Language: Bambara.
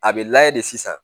A bɛ layɛ de sisan